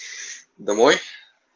домой